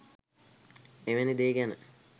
එවැනි දේ ගැන